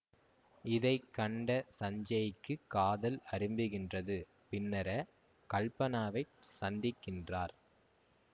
இதை கண்ட சஞ்சேய்க்குக் காதல் அரும்புகின்றது பின்னர கல்பனாவைச் சந்திக்கின்றார்